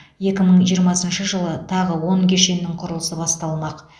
екі мың жиырмасыншы жылы тағы он кешеннің құрылысы басталмақ